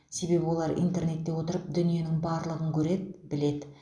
себебі олар интернетте отырып дүниенің барлығын көреді біледі